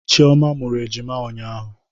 Chioma mụrụ ejima ụnyahụ